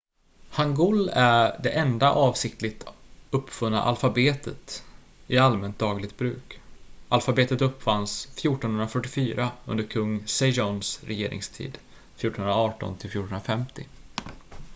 hangul är det enda avsiktligt uppfunna alfabetet i allmänt dagligt bruk. alfabetet uppfanns 1444 under kung sejongs regeringstid 1418–1450